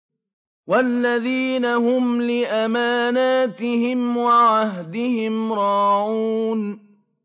وَالَّذِينَ هُمْ لِأَمَانَاتِهِمْ وَعَهْدِهِمْ رَاعُونَ